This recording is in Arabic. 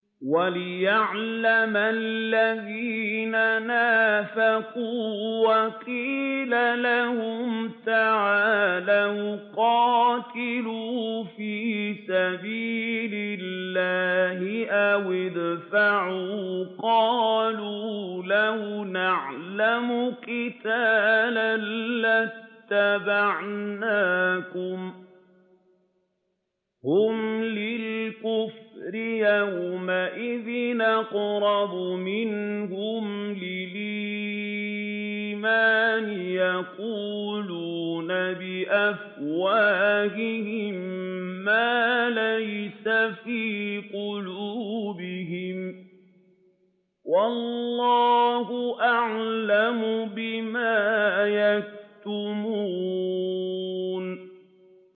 وَلِيَعْلَمَ الَّذِينَ نَافَقُوا ۚ وَقِيلَ لَهُمْ تَعَالَوْا قَاتِلُوا فِي سَبِيلِ اللَّهِ أَوِ ادْفَعُوا ۖ قَالُوا لَوْ نَعْلَمُ قِتَالًا لَّاتَّبَعْنَاكُمْ ۗ هُمْ لِلْكُفْرِ يَوْمَئِذٍ أَقْرَبُ مِنْهُمْ لِلْإِيمَانِ ۚ يَقُولُونَ بِأَفْوَاهِهِم مَّا لَيْسَ فِي قُلُوبِهِمْ ۗ وَاللَّهُ أَعْلَمُ بِمَا يَكْتُمُونَ